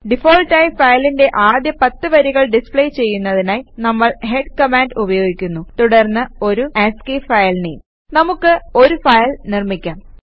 default ആയി ഫയലിന്റെ ആദ്യ 10 വരികൾ ഡിസ്പ്ലേ ചെയ്യുന്നതിനായി നമ്മൾ ഹെഡ് കമാൻഡ് ഉപയോഗിക്കുന്നു തുടർന്ന് ഒരു ആസ്കി ഫയൽ നെയിം നമുക്ക് ഒരു ഫയൽ നിർമ്മിക്കാം